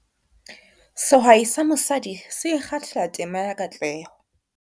Sehwai sa mosadi se ikgahl tema ya katleho.